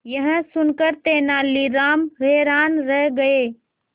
यह सुनकर तेनालीराम हैरान रह गए